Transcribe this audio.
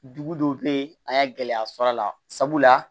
Dugu dɔw bɛ yen an y'a gɛlɛya sɔrɔ a la sabula